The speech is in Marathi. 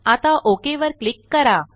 आता ओक वर क्लिक करा